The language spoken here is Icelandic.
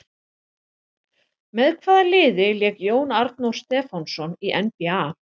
Með hvaða liði lék Jón Arnór Stefánsson í NBA?